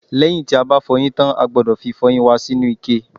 lẹ́yìn tí a bá fọyín tán, a gbọ́dọ̀ fi ìfọyín wa sínú ike